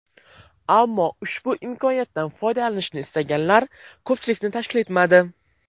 Ammo ushbu imkoniyatdan foydalanishni istaganlar ko‘pchilikni tashkil etmadi.